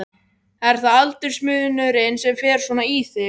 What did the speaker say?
Er það aldursmunurinn sem fer svona í þig?